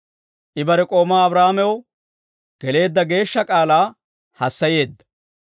I bare k'oomaa Abrahaamaw, geleedda geeshsha k'aalaa hassayeedda.